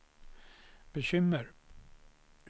bekymmer